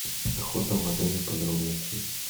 охота в отеле подробности